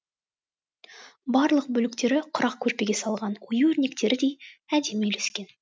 барлық бөліктері құрақ көрпеге салған ою өрнектердей әдемі үйлескен